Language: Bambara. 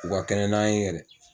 U ka kɛnɛ n'an ye yɛrɛ.